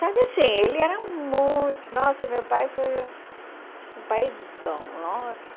Sabe assim, ele era muito... Nossa, meu pai foi um um paizão, nossa.